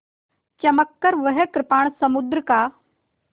चमककर वह कृपाण समुद्र का